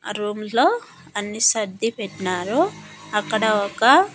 ఆ రూమ్లో అన్ని సర్ది పెట్టినారు అక్కడ ఒక.